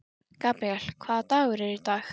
Gabríel, hvaða dagur er í dag?